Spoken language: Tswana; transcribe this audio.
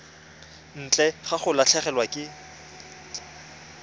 ntle ga go latlhegelwa ke